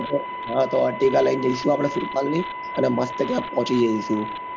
હા તો attica લઇ ને જઈશું આપડે સુરપાલ ની અને મસ્ત ત્યાં પહોચી જઈશું